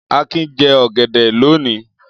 Akin jẹ ọ̀gẹ̀dẹ̀ lónìí.